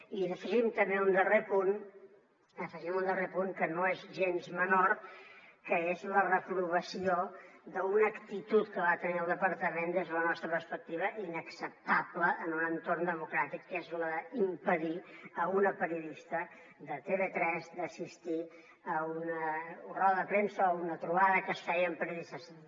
i afegim també un darrer punt que no és gens menor que és la reprovació d’una actitud que va tenir el departament des de la nostra perspectiva inacceptable en un entorn democràtic que és la d’impedir a una periodista de tv3 assistir a una roda de premsa o una trobada que es feia amb periodistes